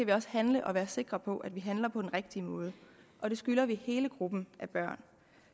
vi også handle og være sikre på at vi handler på den rigtige måde og det skylder vi hele gruppen af børn